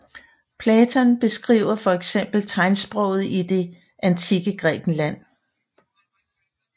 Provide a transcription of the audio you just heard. Platon beskriver fx tegnsprog i det antikke Grækenland